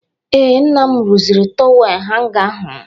Ee, nna m rụziri tọwel hanga ahụ.